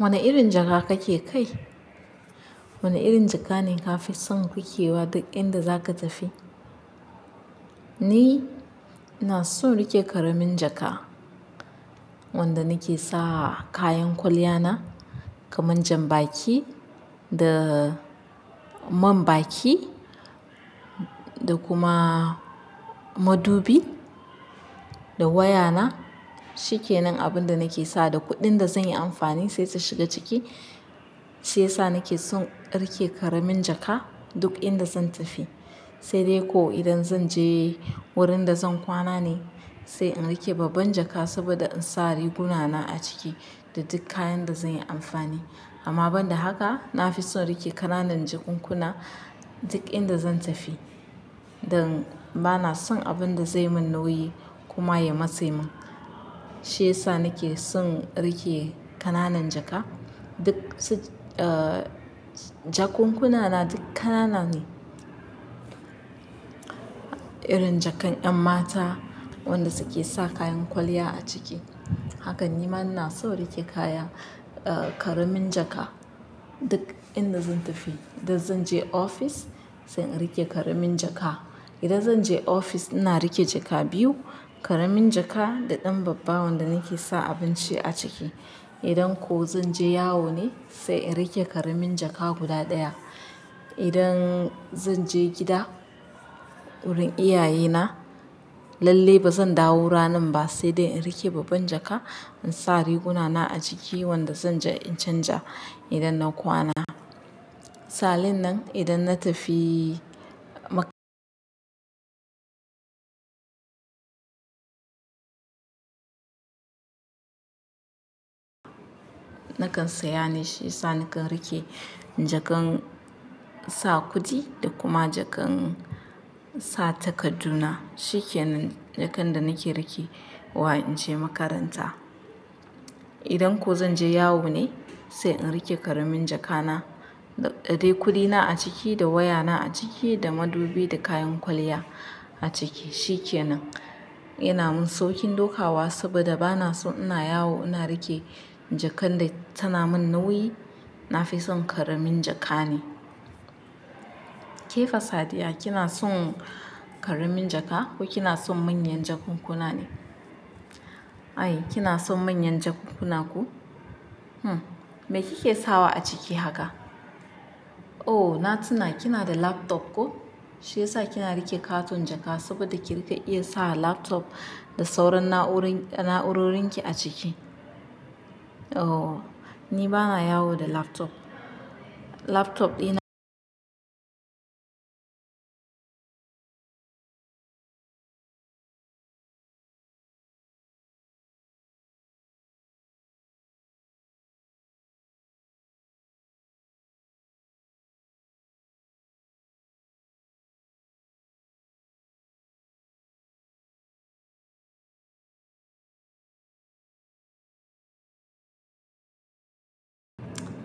Wane irin jaka kake kai? Wane irin jaka ne ka fi son rikewa duk inda zaka tafi? Ni ina so rike ƙaramin jaka wanda nake sa kayan kwalliya na kamar jan baki da man baki da kuma madubi da waya na. Shikenan abin da nake sa da kuɗin da zan yi amfani sai ta shiga ciki, shi ya sa nake son rike ƙaramin jaka duk inda zan tafi. Sai dai ko idan zan je wurin da zan kwana ne sai in rike babban jaka saboda in sa riguna na a ciki da duk kayan da zan yi amfani. Amma ban da haka na fi son rike ƙananan jakunkuna duk inda zan tafi. Dan bana son abinda zai mun nauyi kuma ya matse mun. Shi ya sa nake son rike ƙananan jaka. Duk su, ah jakunkuna na duk ƙanana ne. Irin jakan 'yan mata wanda suke sa kayan kwalliya a ciki. Hakan ni ma na so rike kaya, ah ƙaramin jaka duk inda zan tafi. Idan zan je ofis sai in rike ƙaramin jaka. Idan zan je ofis ina rike jaka biyu, ƙaramin jaka da ɗan babba wanda nake sa abinci a ciki. Idan ko zan je yawo ne sai in rike ƙaramin jaka guda ɗaya. Idan zan je gida wurin iyaye na lalle ba zan dawo ranan ba sai dai in rike babban jaka in sa riguna na a ciki wanda zanja in canja idan na kwana. Salin nan idan na tafi maka nakan saya ne shi ya sa nakan rike jakan sa kudi da kuma jakan sa takaddu na. Shikenan jakan da nake rike wa in je makaranta. Idan ko zan je yawo ne sai in rike ƙaramin jakana da dai kudina a ciki da waya na a ciki da madubi da kayan kwalliya a ciki. Shikenan ina min sauƙin dokawa saboda bana so ina yawo ina rike jakan da tana mun nauyi. Na fi son ƙaramin jaka ne. Ke Fa sadiya kina son ƙaramin jaka ko kina son manyan jakunkuna ne? Ai kina son manyan jakunkuna ko? Hmm. Me kike sawa a ciki haka? Oh! Na tuna kina da laptop ko? Shi ya sa kina rike ƙaton jaka saboda kirike iya sa laptop da sauran na'urori, na'urorin ki a ciki. Oh! Ni bana yawo da laptop. Laptop ɗina.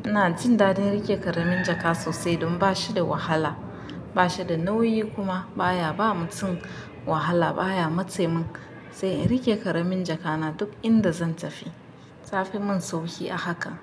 Ina jin daɗin rike ƙaramin jaka sosai don ba shi da wahala, ba shi da nauyi kuma baya ba mutum wahala baya matse mun. Sai in rike ƙaramin jakana duk inda zan tafi. Ta fi mun sauƙi a haka.